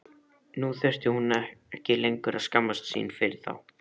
Nú þurfti hún ekki lengur að skammast sín fyrir þá.